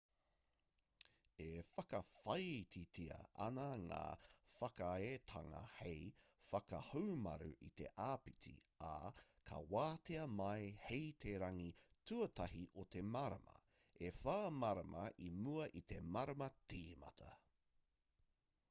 e whakawhāititia ana ngā whakaaetanga hei whakahaumaru i te āpiti ā ka wātea mai hei te rangi tuatahi o te marama e whā marama i mua i te marama tīmata